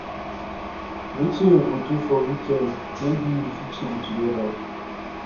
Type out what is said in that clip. wetin you go do for weekend maybe we fit chill together